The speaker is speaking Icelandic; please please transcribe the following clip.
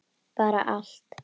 Bara allt.